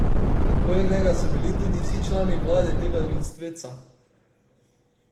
Okoli njega so bili tudi vsi člani vlade tega ljudstveca.